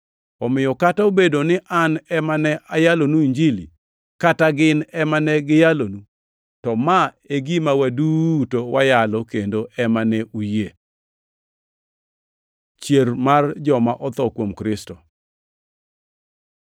Omiyo kata bed ni an ema ne ayalonu Injili kata gin ema ne giyalonu, to ma e gima waduto wayalo kendo ema ne uyie. Chier mar joma otho kuom Kristo